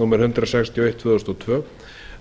númer hundrað sextíu og eitt tvö þúsund og tvö